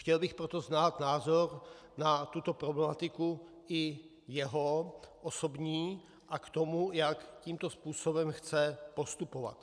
Chtěl bych proto znát názor na tuto problematiku i jeho osobní a k tomu, jak tímto způsobem chce postupovat.